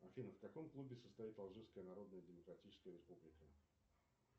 афина в каком клубе состоит алжирская народная демократическая республика